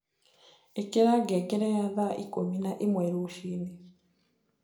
ĩkĩra ngengere ya thaa ĩkũmĩ naĩmwe rũciini